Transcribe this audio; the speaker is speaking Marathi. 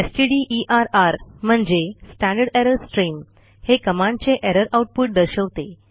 स्टडर म्हणजे स्टँडर्ड एरर स्ट्रीम हे कमांडचे एरर आऊटपुट दर्शवते